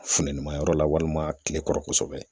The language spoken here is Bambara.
Funtenima yɔrɔ la walima kile kɔrɔ kosɛbɛ.